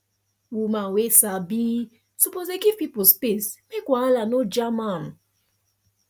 woman wey sabi suppose dey give pipo space make wahala no jam am